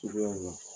Cogoya min na